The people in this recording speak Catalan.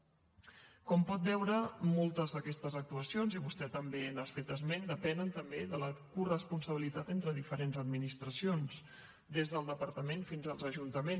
com pot veure moltes d’aquestes actuacions i vostè també n’ha fet esment depenen també de la coresponsabilitat entre diferents administracions des del departament fins als ajuntaments